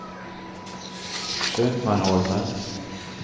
Köpmanholmen